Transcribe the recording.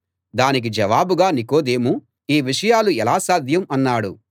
దానికి జవాబుగా నికోదేము ఈ విషయాలు ఎలా సాధ్యం అన్నాడు